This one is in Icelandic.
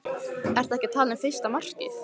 Ertu ekki að tala um fyrsta markið?